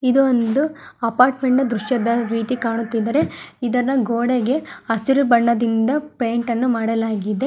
ಇದು ಒಂದು ಅಪಾರ್ಟ್ಮೆಂಟ್ನ ದೃಶ್ಯದ ವಿದಿ ಕಾಣುತ್ತಿದ್ದಾರೆ ಇದನ್ನು ಗೋಡೆಗೆ ಹಸಿರು ಬಣ್ಣದಿಂದ ಪೇಯಿಂಟ್ ಅನ್ನು ಮಾಡಲಾಗಿದೆ.